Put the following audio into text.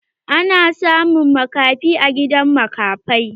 Ana samun makafi a gidan makafai.